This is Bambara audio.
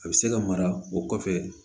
A bɛ se ka mara o kɔfɛ